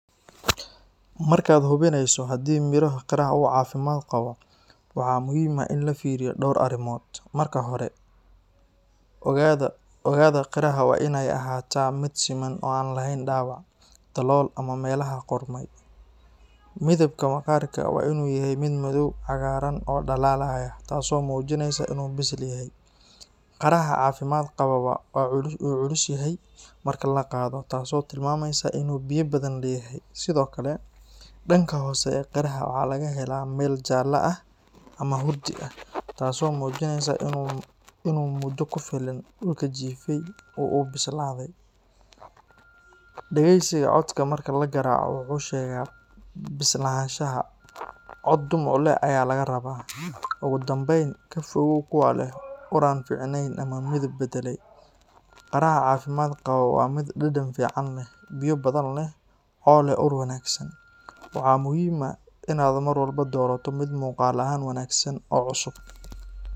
Markaad hubinayso haddii miro qaraha uu caafimaad qabo, waxaa muhiim ah in la fiiriyo dhowr arrimood. Marka hore, oogada qaraha waa inay ahaataa mid siman oo aan lahayn dhaawac, dalool, ama meelaha qudhmay. Midabka maqaarka waa inuu yahay mid madow cagaaran oo dhalaalaya, taasoo muujinaysa in uu bisil yahay. Qaraha caafimaad qaba wuu culus yahay marka la qaado, taasoo tilmaamaysa in uu biyo badan leeyahay. Sidoo kale, dhanka hoose ee qaraha waxaa laga helaa meel jaalle ah ama hurdi ah, taasoo muujinaysa in uu muddo ku filan dhulka jiifay si uu u bislaado. Dhagaysiga codka marka la garaaco wuxuu sheegaa bislaanshaha, cod dhumuc leh ayaa laga rabaa. Ugu dambayn, ka fogow kuwa leh ur aan fiicnayn ama midab beddelay. Qaraha caafimaad qaba waa mid dhadhan fiican leh, biyo badan leh, oo leh ur wanaagsan. Waxaa muhiim ah in aad mar walba doorato mid muuqaal ahaan wanaagsan oo cusub.